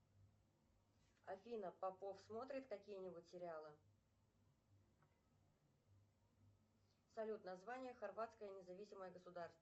афина попов смотрит какие нибудь сериалы салют название хорватское независимое государство